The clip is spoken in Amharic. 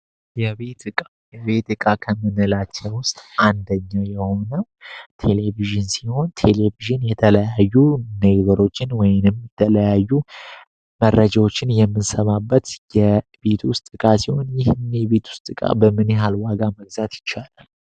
የቤት እቃ የቤት እቃ ከምንላቸው ውስጥ አንደኛው የሆነው ቴሌቪዥን ሲሆን ቴሌቪዥን የተለያዩ ነገሮችን ወይንም የተለያዩ መረጃዎችን የምንሰማበት የቤት ውስጥ እቃ ሲሆን ይህ የቤት ውስጥ እቃ በምን ያህል ዋጋ መግዛት ይቻላል።